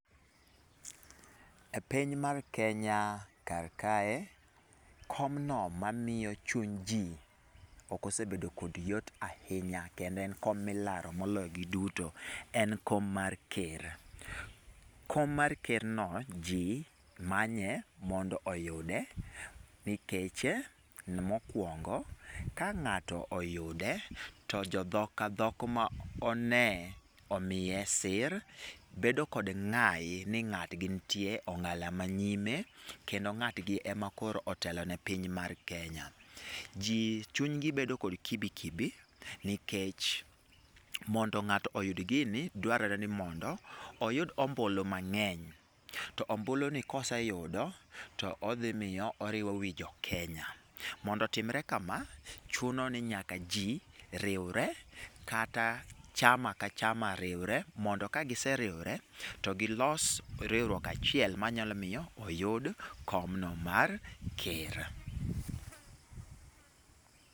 E piny mar Kenya kar kae, kom no mamiyo chuny ji ok osebedo kod yot ahinya kendo en kom milaro moloyo gi duto, en kom mar ker. Kom mar ker no ji manye mondo oyude, nikech, mokuongo, ka ng'ato oyude, to jo dhok a dhok ma o ne omiye sir, bedo kod ng'ayi ni ng'at gi nitie ong'ala ma nyime kendo ng'at gi e ma koro otelo ne piny mar Kenya. Ji chunygi bedo kod kibikibi nikech, mondo ng'ato oyud gini, dwarore ni mondo oyud ombulu mang'eny to ombulu ni koseyudo to odhi miyo oriwo wii jo Kenya. Mondo otimre kama, chuno ni nyaka jii riwre kata chama ka chama riwre, mondo ka giseriwre, to gilos riwruok achiel ma nyalo miyo oyud kom no mar ker.